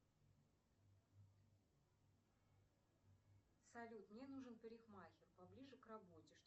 салют мне нужен парикмахер поближе к работе